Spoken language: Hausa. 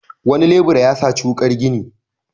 Wani lebura ya saci wuƙar gini.